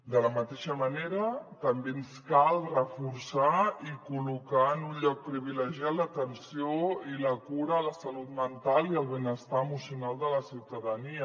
de la mateixa manera també ens cal reforçar i col·locar en un lloc privilegiat l’atenció i la cura de la salut mental i el benestar emocional de la ciutadania